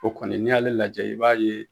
O kɔni ni y'ale lajɛ i b'a ye.